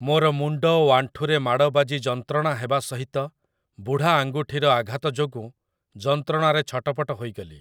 ମୋର ମୁଣ୍ଡ ଓ ଆଣ୍ଠୁରେ ମାଡ଼ ବାଜି ଯନ୍ତ୍ରଣା ହେବା ସହିତ ବୁଢ଼ା ଆଙ୍ଗୁଠିର ଆଘାତ ଯୋଗୁଁ ଯନ୍ତ୍ରଣାରେ ଛଟପଟ ହୋଇଗଲି ।